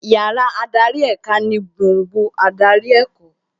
Yàrá adarí èka ni gbùngbùn adarí ẹ̀kọ́